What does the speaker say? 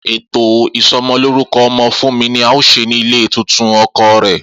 Eto isomoloruko omo Funmi ni ao se ni ile titun oko re.